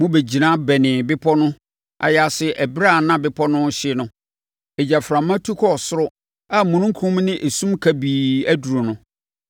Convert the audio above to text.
Mobɛgyina bɛnee bepɔ no ayaase ɛberɛ a na bepɔ no rehye no. Egyaframa no tu kɔɔ soro a omununkum ne esum kabii aduru no.